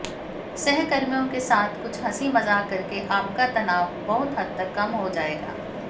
सहकर्मियों के साथ कुछ हंसी मजाक करके आपका तनाव बहुत हद तक कम हो जाएगा